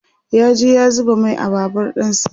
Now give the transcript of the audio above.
ya je ya zuba Mai a Babur ɗinsa